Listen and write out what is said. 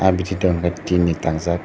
ah bithi dukan khe tin ni tangjak.